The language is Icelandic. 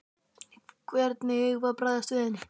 Hvernig eigum við að bregðast við henni?